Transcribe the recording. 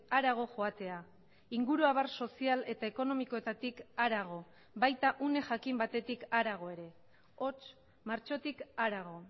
harago joatea inguruabar sozial eta ekonomikoetatik harago baita une jakin batetik harago ere hots martxotik harago